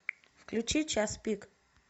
включи час пик